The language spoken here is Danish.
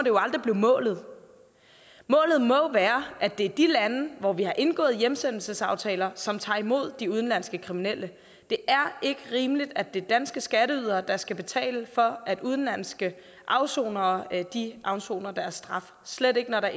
jo aldrig blive målet målet må jo være at det er de lande hvor vi har indgået hjemsendelsesaftaler som tager imod de udenlandske kriminelle det er ikke rimeligt at det er danske skatteydere der skal betale for at udenlandske afsonere afsoner deres straf slet ikke når der